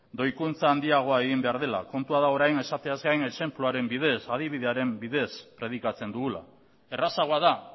doikuntza handiagoa egin behar dela kontua da orain esateaz gain adibidearen bidez predikatzen dugula errazagoa da